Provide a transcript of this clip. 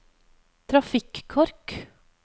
trafikkork